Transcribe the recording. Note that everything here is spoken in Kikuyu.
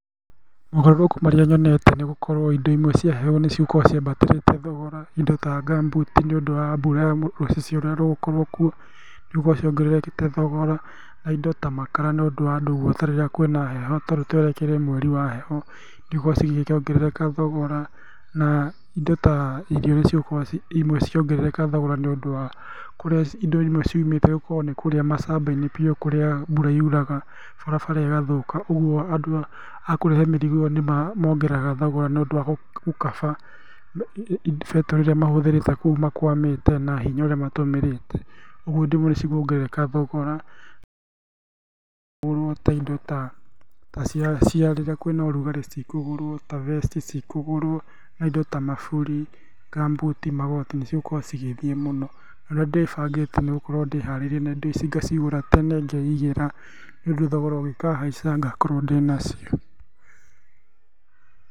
Mogarũrũku marĩa nyonete nĩ gũkorwo indo imwe cia heho nĩcikoragwo ciambatĩrĩte thogora indo ta gum boot nĩũndũ wa mbura rũcicio rũrĩa rũgũkorwo kuo, nĩgũkorwo ciongererekete thogora, na indo ta makara nĩ ũndũ wa andũ guota rĩrĩa kwĩna heho tarĩu twerekeire mweri wa heho nĩigũkorwo cigĩkĩongerereka thogora naa indo ta irio nĩcigũkorwo imwe cikĩongerereka thogora nĩ ũndũ wa indo imwe kũrĩa ciumĩte korwo nĩ kũrĩa macamba-inĩ biũ kũrĩa mbura yuraga barabara ĩgathũka, ũguo andũ a kũrehe mĩrigo ĩyo nĩmongereraga thogora nĩũndũ wa gũkaba betũrũ ĩrĩa mahũthĩrĩte kũu makwamĩte na hinya ũrĩa matũmĩrĩte, ũguo indo imwe nĩcikuongerereka thogora gũtikũgũrwo indo ta ta cia cia rĩrĩa kwĩna urugarĩ citikũgũrwo ta vest citikũgũrwo, na indo ta maburi, gum boot, magoti nĩ cigũkorwo cigĩthiĩ mũno. Ũrĩa ndĩbangĩte nĩgũkorwo ndĩharĩirie na indo ici ngacigũra tene ngeigĩra nĩũndũ thogora ũngĩkahaica ngakorwo ndĩnacio.